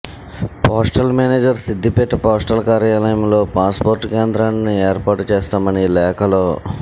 postal manager Siddipet postal కార్యాలయంలో passport కేంద్రాన్ని ఏర్పాటు చేస్తామని లేఖలో